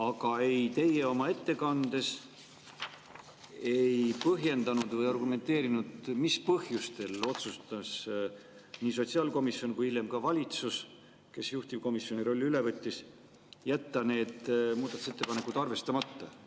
Aga teie oma ettekandes ei põhjendanud või ei argumenteerinud, mis põhjustel otsustas nii sotsiaalkomisjon kui hiljem ka valitsus, kes juhtivkomisjoni rolli üle võttis, jätta need muudatusettepanekud arvestamata.